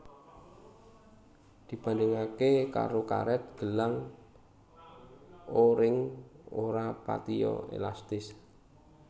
Dibandhingake karo karet gelang O ring ora patiya elastis